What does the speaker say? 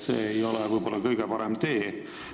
See ei ole võib-olla kõige parem tee.